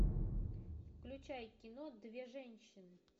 включай кино две женщины